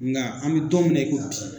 Nga an me don min na i ko bi